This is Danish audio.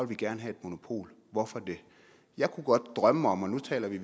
vi gerne have et monopol hvorfor det jeg kunne godt drømme om og nu taler vi